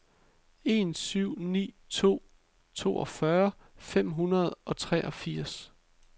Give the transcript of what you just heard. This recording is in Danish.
en syv ni to toogfyrre fem hundrede og treogfirs